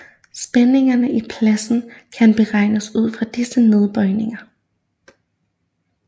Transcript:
Spændingerne i pladen kan beregnes ud fra disse nedbøjninger